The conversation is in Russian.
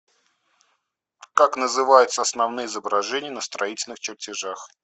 как называются основные изображения на строительных чертежах